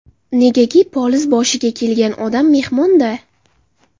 Negaki, poliz boshiga kelgan odam mehmon-da.